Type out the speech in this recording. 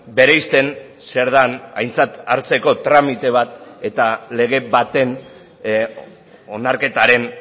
bereizten zer den aintzat hartzeko tramite bat eta lege baten onarketaren